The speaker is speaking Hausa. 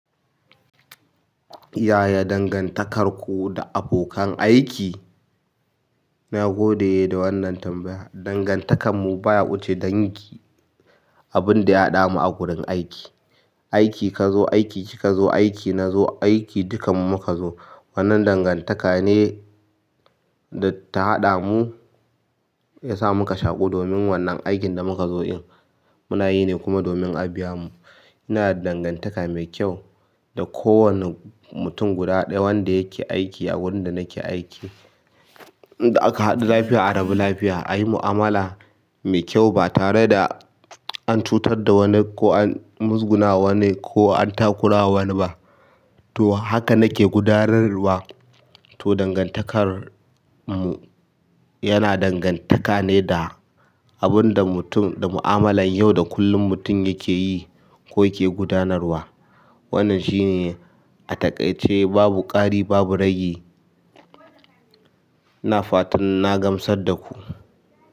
Yaya dangantakarku da abokan aiki? Na gode da wannan tambaya. Dangantakar mu baya wuce dangi, abin da ya haɗa mu a wurin aiki. Aiki kazo, aiki ki kazo, aiki nazo, aiki dukanmu muka zo. Wannan dangantaka ne data haɗa mu ya sa muka shaƙu domin wannan aikin da mukazo ɗin muna yi ne kuma domin a biya mu ina da dangantaka mai kyau da kowane mutum guda ɗaya wanda yake aiki a wurin da nake aiki. Inda aka haɗu lafiya, a rabu lafiya. A yi mu'amala mai kyau ba tare da an cutar da wani ko an muzgunawa wani ko an takurawa wani ba. To haka nake gudanarwa. To dangantakar mu yana dangantane da abinda mutum da mu'amalar yau da kullum mutim yakeyi ko yake gudanarwa. Wannan shine a takaice babu ƙari babu rage. Na fatan na gamsar da ku.